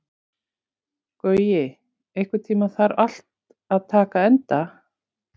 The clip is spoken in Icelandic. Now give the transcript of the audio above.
Gaui, einhvern tímann þarf allt að taka enda.